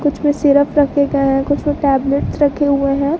इसमें सिरप रखे गये हैं कुछ टैबलेट रखे हुए है।